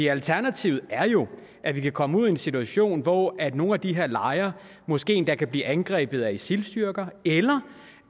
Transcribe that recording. alternativet er jo at vi kan komme ud i en situation hvor nogle af de her lejre måske endda kan blive angrebet af isil styrker eller